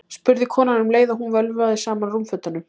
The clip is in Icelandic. spurði konan um leið og hún vöðlaði saman rúmfötunum.